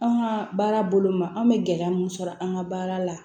An ka baara bolo ma an bɛ gɛlɛya mun sɔrɔ an ka baara la